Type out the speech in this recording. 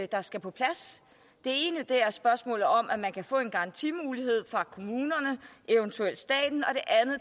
der skal på plads det ene er spørgsmålet om at man kan få en garantimulighed fra kommunerne eventuelt staten og